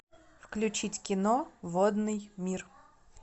включить кино водный мир